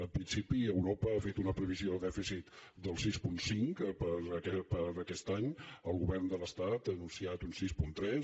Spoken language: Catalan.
en principi europa ha fet una previsió de dèficit del sis coma cinc per a aquest any el govern de l’estat ha anunciat un sis coma tres